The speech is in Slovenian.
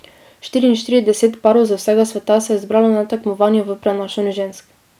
Štiriinštirideset parov z vsega sveta se je zbralo na tekmovanju v prenašanju žensk.